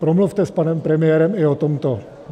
Promluvte s panem premiérem i o tomto.